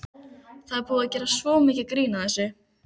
Það er búið að gera svo mikið grín að þessu.